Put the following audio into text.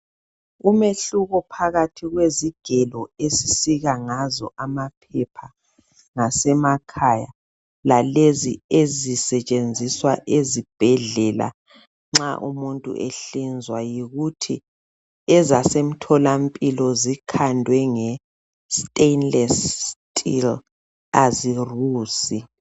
Umehluko phakathi kwezigelo esisika ngazo amaphepha ngasemakhaya lalezi ezisetshenziswa ezibhedlela nxa umuntu ehlinzwa yikuthi ezasemtholampilo zikhandwe nge stainless steel azirusi.